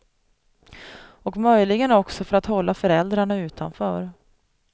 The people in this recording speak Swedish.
Och möjligen också för att hålla föräldrarna utanför.